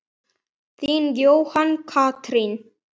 Þín, Jóhanna Katrín.